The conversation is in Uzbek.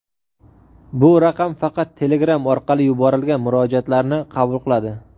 bu raqam faqat Telegram orqali yuborilgan murojaatlarni qabul qiladi.